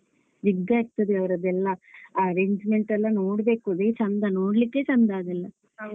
ಇರ್ತದೆ ಅವರದ್ದೆಲ್ಲಾ. arrangement ಎಲ್ಲಾ ನೋಡ್ಬೇಕು ಅದೇ ಚಂದ ನೋಡ್ಲಿಕ್ಕೇ ಚಂದ ಅದೆಲ್ಲಾ.